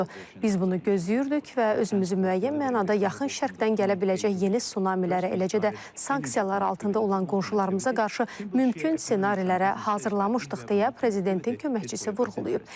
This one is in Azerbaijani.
Biz bunu gözləyirdik və özümüzü müəyyən mənada yaxın Şərqdən gələ biləcək yeni sunamilərə, eləcə də sanksiyalar altında olan qonşularımıza qarşı mümkün ssenarilərə hazırlamışdıq deyə prezidentin köməkçisi vurğulayıb.